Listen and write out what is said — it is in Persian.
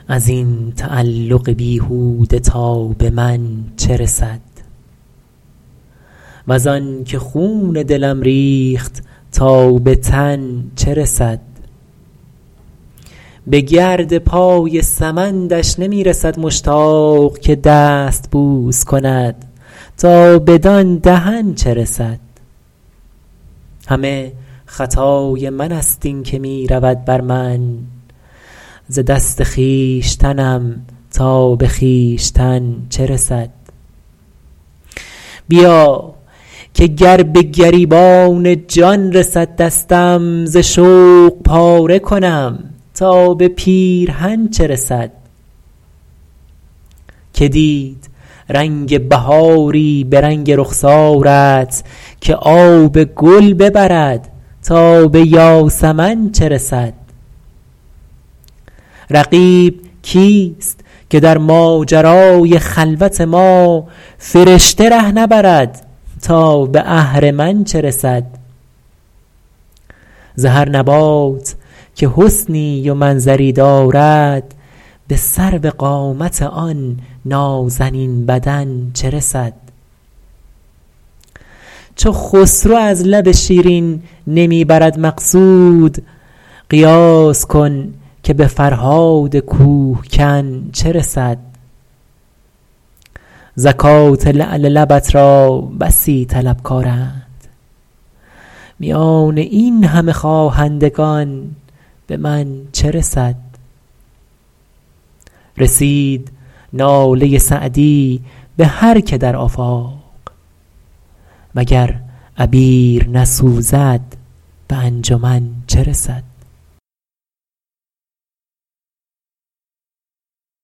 از این تعلق بیهوده تا به من چه رسد وز آن که خون دلم ریخت تا به تن چه رسد به گرد پای سمندش نمی رسد مشتاق که دست بوس کند تا بدان دهن چه رسد همه خطای من ست این که می رود بر من ز دست خویشتنم تا به خویشتن چه رسد بیا که گر به گریبان جان رسد دستم ز شوق پاره کنم تا به پیرهن چه رسد که دید رنگ بهاری به رنگ رخسارت که آب گل ببرد تا به یاسمن چه رسد رقیب کیست که در ماجرای خلوت ما فرشته ره نبرد تا به اهرمن چه رسد ز هر نبات که حسنی و منظری دارد به سروقامت آن نازنین بدن چه رسد چو خسرو از لب شیرین نمی برد مقصود قیاس کن که به فرهاد کوه کن چه رسد زکات لعل لبت را بسی طلبکارند میان این همه خواهندگان به من چه رسد رسید ناله سعدی به هر که در آفاق و گر عبیر نسوزد به انجمن چه رسد